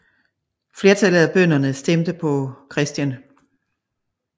Flertallet af bønderne stemte på Chr